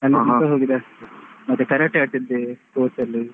ಅಲ್ಲಿ ತನಕ ಹೋದದ್ದು ಅಷ್ಟೇ. ಮತ್ತೆ Karate ಆಡ್ತಿದ್ದೆ sports ಅಲ್ಲಿ.